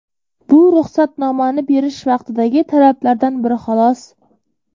Bu ruxsatnomani berish vaqtidagi talablardan biri, xolos.